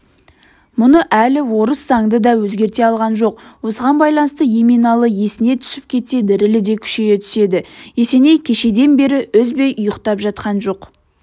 мұны әлі орыс заңы да өзгерте алған жоқ осыған байланысты еменалы есіне түсіп кетсе дірілі де күшейе түседі есеней кешеден бері үзбей ұйықтап жатқан жоқ